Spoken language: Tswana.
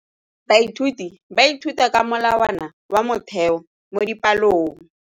Baithuti ba ithuta ka molawana wa motheo mo dipalong.